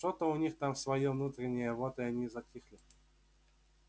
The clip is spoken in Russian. что-то у них там своё внутреннее вот и они и затихли